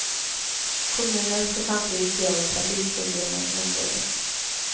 Kommunen skall samtidigt se över trafikproblemen i området.